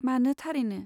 मानो थारैनो।